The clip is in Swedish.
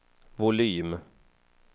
volym